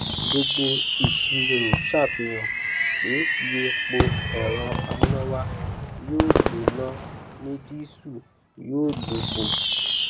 gbogbo ìṣirò ṣàfihàn pé iye epo ẹrọ amúnáwá yóò lò náà ni dísù yóò lò bo